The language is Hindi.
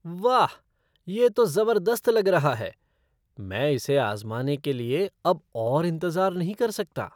वाह, यह तो ज़बरदस्त लग रहा है! मैं इसे आज़माने के लिए अब और इंतज़ार नहीं कर सकता।